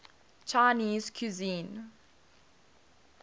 chinese cuisine